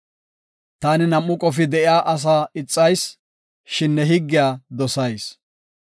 Taani nam7u qofi de7iya asaa ixayis; shin ne higgiya dosayis.